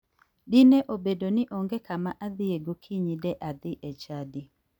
Dine obedo ni onge kama adhiye gokinyi de adhi e chadi.